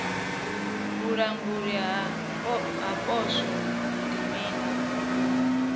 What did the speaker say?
vhulanguli ha poswo ndi mini